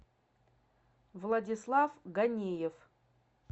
владислав ганиев